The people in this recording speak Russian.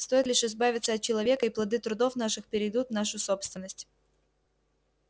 стоит лишь избавиться от человека и плоды трудов наших перейдут в нашу собственность